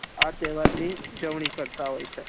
આ તેહવાર ની ઉજવણી કરતા હોય છે